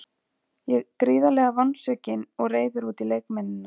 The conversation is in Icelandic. Ég var gríðarlega vonsvikinn og reiður út í leikmennina.